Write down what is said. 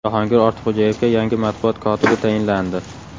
Jahongir Ortiqxo‘jayevga yangi matbuot kotibi tayinlandi.